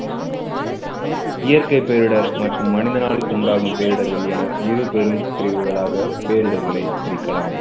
இயற்கை பேரிடர் மற்றும் மனிதனால் உண்டாகும் பேரிடர்கள் என இரு பெரும் பிரிவுகளாக பேரிடர்களை பிரிக்கலாம்.